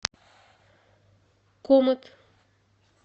комет